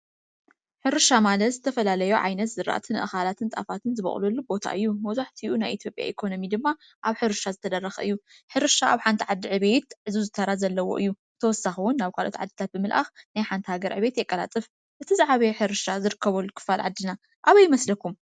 ሕርሻ ማለት ዝተፈላለዩ ዓይነት ዝራእትን ኣእካላትን ጣፋትን ዝበቅልሉ ቦታ እዩ ።መብዛሕትኡ ናይ ኢትዮጲያ ኢኮኖምይ ድማ ኣብ ሕርሻ ዝተደረኸ እዩ። ሕርሻ ኣብ ሓንቲ ዓዲ ዕብየት ዕዙዝ ተራ ዘለዎ እዩ ።ብተውሳኪ እዉን ናብ ኻልኦት ዓድታት ብምልኣክ ናይ ሓንቲ ሃገር ዕብየት የቀላጥፍ እቲ ዝዓበየ ሕርሻ ዝርከበሉ ክፋል ዓድና ኣበይ ይመስለኩም?